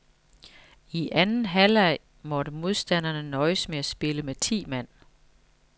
I anden halvleg måtte modstanderne nøjes med at spille med ti mand.